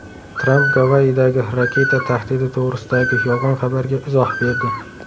Tramp Gavayidagi raketa tahdidi to‘g‘risidagi yolg‘on xabarga izoh berdi.